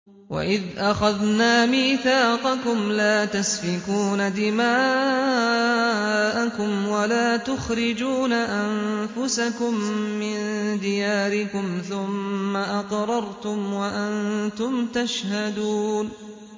وَإِذْ أَخَذْنَا مِيثَاقَكُمْ لَا تَسْفِكُونَ دِمَاءَكُمْ وَلَا تُخْرِجُونَ أَنفُسَكُم مِّن دِيَارِكُمْ ثُمَّ أَقْرَرْتُمْ وَأَنتُمْ تَشْهَدُونَ